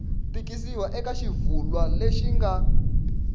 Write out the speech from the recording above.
tikisiwa eka xivulwa lexi nga